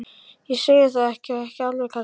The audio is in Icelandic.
Ég segi það ekki. ekki alveg kannski.